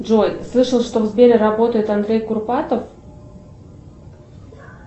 джой слышал что в сбере работает андрей курпатов